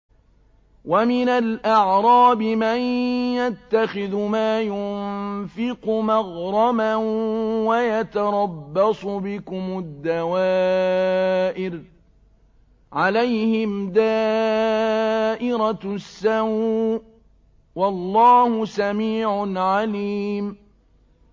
وَمِنَ الْأَعْرَابِ مَن يَتَّخِذُ مَا يُنفِقُ مَغْرَمًا وَيَتَرَبَّصُ بِكُمُ الدَّوَائِرَ ۚ عَلَيْهِمْ دَائِرَةُ السَّوْءِ ۗ وَاللَّهُ سَمِيعٌ عَلِيمٌ